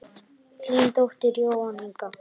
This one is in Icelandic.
Þín dóttir Jóhanna Inga.